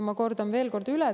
Ma kordan veel kord üle.